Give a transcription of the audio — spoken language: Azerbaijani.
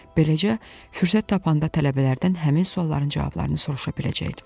Beləcə fürsət tapanda tələbələrdən həmin sualların cavablarını soruşa biləcəkdim.